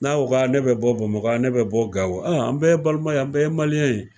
N'aw ko k'a ne bɛ bɔ BAMAKƆ ne bɛ bɔ GAWO an bɛɛ ye balima ye an bɛɛ ye ye.